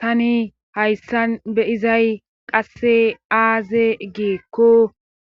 tani hayssan be izay qasse aaze giikko